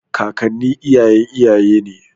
Kakanni iyayen iyaye ne.